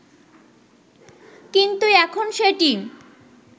কিন্তু এখন সেটি